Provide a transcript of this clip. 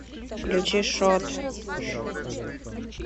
включи шот